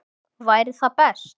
Væri það best?